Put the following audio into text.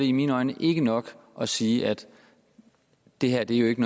i mine øjne ikke nok at sige at det her jo ikke